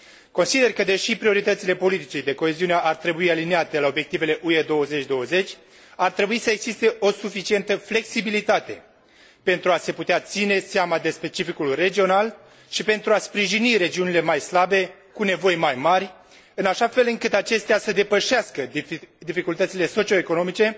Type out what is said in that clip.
Consider că, deși prioritățile politicii de coeziune ar trebui aliniate la obiectivele UE 2020, ar trebui să existe o suficientă flexibilitate pentru a se putea ține seama de specificul regional și pentru a sprijini regiunile mai slabe, cu nevoi mai mari, în așa fel încât acestea să depășească dificultățile socio economice,